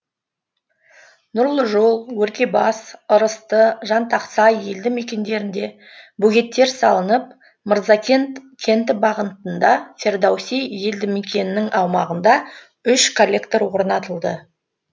нұрлыжол өргебас ырысты жантақсай елді мекендерінде бөгеттер салынып мырзакент кенті бағытында фердауси елдімекенінің аумағында үш коллектор орнатылды